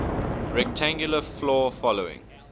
rectangular floor following